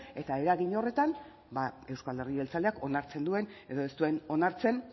eta eragin horretan euzko alderdi jeltzaleak onartzen duen edo ez duen onartzen